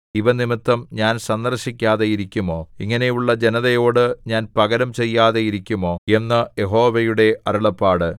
ഇവ നിമിത്തം ഞാൻ സന്ദർശിക്കാതെ ഇരിക്കുമോ ഇങ്ങനെയുള്ള ജനതയോടു ഞാൻ പകരം ചെയ്യാതെ ഇരിക്കുമോ എന്ന് യഹോവയുടെ അരുളപ്പാട്